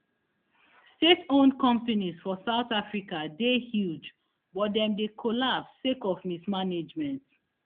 stateowned companies for south africa dey huge but dem dey collapse sake of mismanagement